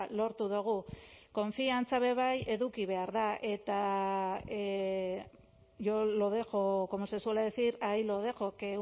lortu dugu konfiantza ere bai eduki behar da eta yo lo dejo como se suele decir ahí lo dejo que